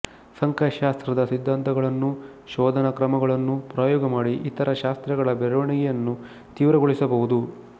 ಸಂಖ್ಯಾಶಾಸ್ತ್ರದ ಸಿದ್ಧಾಂತಗಳನ್ನೂ ಶೋಧನಾ ಕ್ರಮಗಳನ್ನೂ ಪ್ರಯೋಗ ಮಾಡಿ ಇತರ ಶಾಸ್ತ್ರಗಳ ಬೆಳೆವಣಿಗೆಯನ್ನು ತೀವ್ರಗೊಳಿಸಬಹುದು